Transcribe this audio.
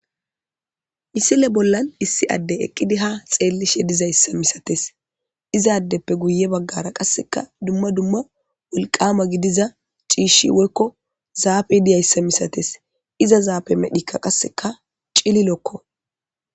Issile bollan issi adde eqqidi ha xeellishe dizayssa misates izaaddeppe guye baggara qasseka dumma dumma wulqama gidiza ciishi woykko zaafe diyayssa misates iza zaafe medhikka qasseka cililokko.